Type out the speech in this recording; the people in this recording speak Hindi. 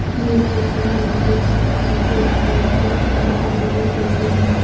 ये फोटो में हम देख सकते हैं एक व्हाईट कलर की बहुत बड़ी बिल्डिंग है।